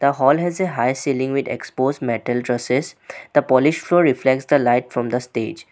The hall has a high ceiling with expose metal dresses. The polish floor reflects the light from the stage.